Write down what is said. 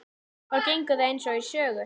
Þá gengur það eins og í sögu.